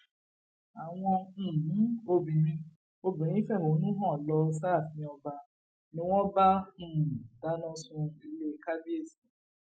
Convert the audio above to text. àwọn um obìnrin obìnrin fẹhónú hàn lọ sáàfin ọba ni wọn bá um dáná sun ilé kàbìẹsì